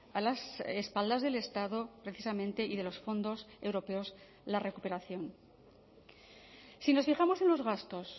a las espaldas del estado precisamente y de los fondos europeos la recuperación si nos fijamos en los gastos